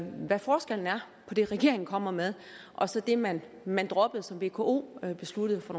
hvad forskellen er på det regeringen kommer med og så det man man droppede som vko besluttede for